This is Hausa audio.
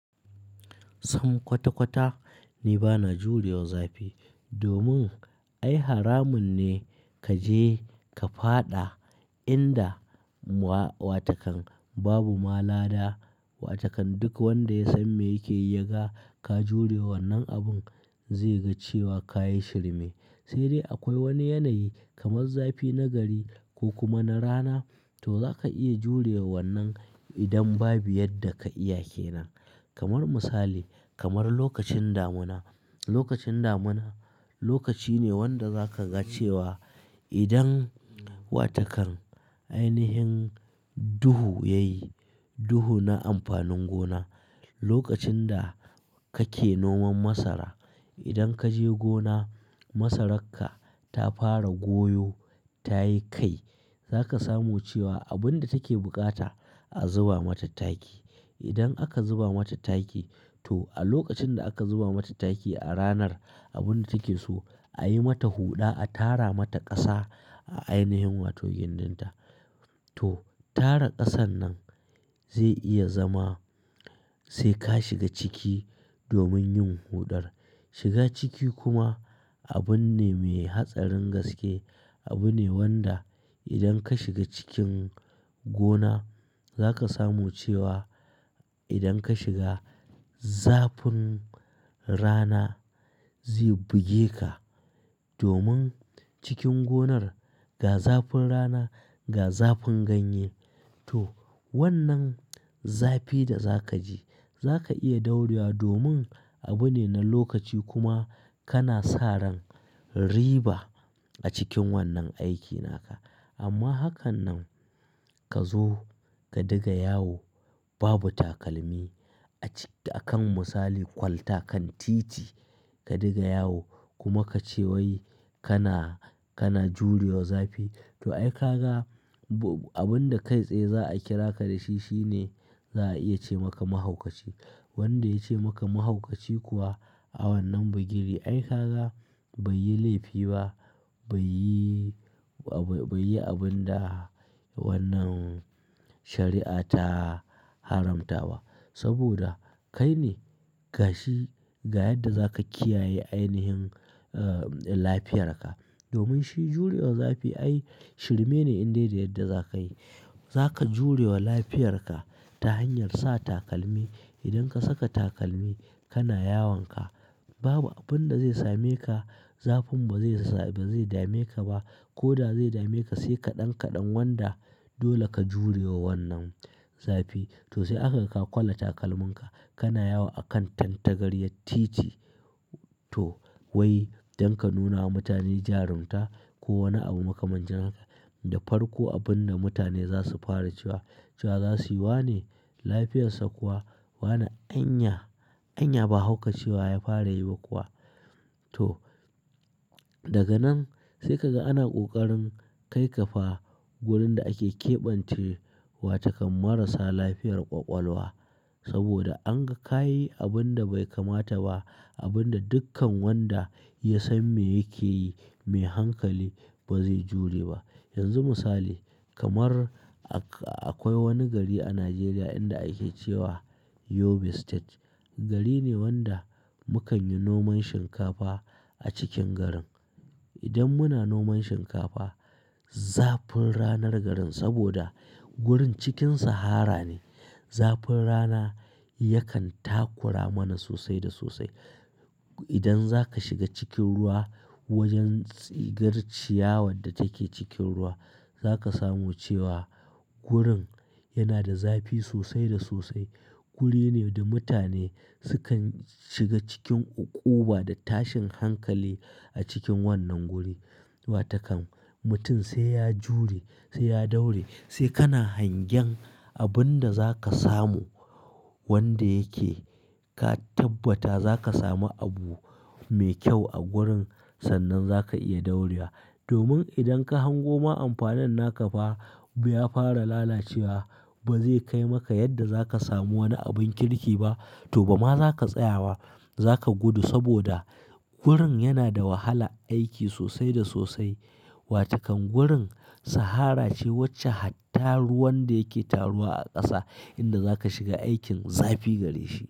Sam kwata-kwata ni bana jurewa zafi domin ai haramun ne ka je ka faɗa inda wa-watakan babu ma lada. Watakan duk wanda ya san me yake yi ya ga ka jurewa wannan abun zai ga cewa ka yi shirme. Sai dai akwai wani yanayi kamar zafi na gari ko kuma na rana to za ka iya jurewa wannan idan babu yadda ka iya ke nan. Kamar misali, kamar lokacin damuna. Lokacin damuna lokaci ne wanda za ka ga cewa idan watakan ainihin duhu ya yi, duhu na amfanin gona. Lokacin da kake noman masara idan ka je gona masararka ta fara goyo ta yi kai za ka samu cewa abun da take bukata a zuba mata taki. Idan aka zuba mata taki to a lokacin da aka zuba mata taki a ranar abun da take so a yi mata huɗa, a tara mata ƙasa a ainihin wato gindinta. To tara ƙasan nan zai iya zama sai ka shiga ciki domin yin huɗar. Shiga ciki kuma abun ne mai hatsarin gaske. Abu ne wanda idan ka shiga cikin gona za ka samu cewa idan ka shiga zafin rana zai buge ka. Domin cikin gonar ga zafin rana, ga zafin ganye. To wannan zafi da za ka ji za ka iya daure wa domin abu ne na lokaci kuma kana sa ran riba a cikin wannan aiki naka. Amma hakan nan ka zo ka diga yawo babu takalmi a cik-- a kan misali kwalta kan titi ka diga yawo kuma ka ce wai kana, kana jurewa zafi to ai ka ga abun da kai tsaye za a kira ka da shi shine za a iya ce maka mahaukaci. Wanda ya ce maka mahaukaci kuwa a wannan bugiri ai ka ga bai yi laifi ba bai yi, bai yi abin da wannan shari'a ta haramta ba. Saboda kai ne gashi ga yadda za ka kiyaye ainihin, ah, lafiyarka. Domin shi jurewa zafi ai shirme ne in dai da yadda za ka yi. Za ka jurewa lafiyarka ta hanyar sa takalmi. Idan ka saka takalmi kana yawanka babu abun da zai same ka zafin ba zai ba zai dame ka ba. Ko da zai dame ka sai kaɗan kaɗan wanda dole ka jurewa wannan zafi. To sai aka ga kwala takalminka kana yawo a kan tantagariyar titi to wai don ka nuna wa mutane jarumta ko wani abu makamancin ka da farko abun da mutane za su fara cewa, cewa za su yi wane lafiyarsa kuwa wane anya, anya ba haukacewa ya fara yi ba kuwa. To daga nan sai ka ga ana ƙoƙarin kai ka fa wurin da ake keɓance wa takan marasa lafiyar ƙwaƙwalwa. Saboda an ga ka yi abun da bai kamata ba abun da dukkan wanda ya san me yake yi mai hankali ba zai jure ba. Yanzu misali kamar akwai wani gari a Najeriya inda ake cewa Yobe State. Gari ne wanda mu kan yi noman shinkafa a cikin garin. Idan muna noman shinkafa zafin ranar garin saboda wurin cikin sahara ne zafin rana yakan takura mana sosai da sosai. Idan za ka shiga cikin ruwa wajen tsigar ciyawar da take cikin ruwa za ka samu cewa gurin yana da zafi sosai da sosai. Guri ne da mutane sukan shiga cikin uƙuba da tashin hankali a cikin wannan guri. Watakan mutum sai ya jure, sai ya daure, sai kana hangen abun da za ka samu wanda yake ka tabbata za ka sami abu mai kyau a gurin sannan za ka iya daure wa. Domin idan ka hango ma amfanin naka ba, ba ya fara lalacewa ba zai kai maka yadda za ka samu wani abun kirki ba. To ba ma za ka tsaya ba za ka gudu saboda gurin yana da wahalar aiki sosai da sosai. Watakan gurin sahara ce wacce hatta ruwan da yake taruwa a ƙasa inda za ka shiga aikin zafi gare shi.